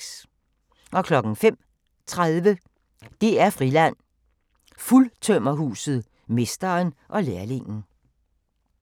05:30: DR-Friland: Fuldtømmerhuset – mesteren og lærlingen